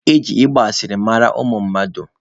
Eji igba asịrị mara ụmụ mmadụ.